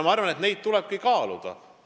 Seda kõike tulebki kaaluda.